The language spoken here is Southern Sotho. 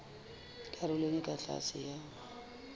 karolong e ka tlase ya